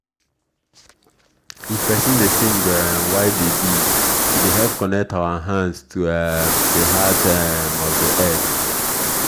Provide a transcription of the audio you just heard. if person dey sing um while dey dig e dey help connect our hand to um the heart um of the earth.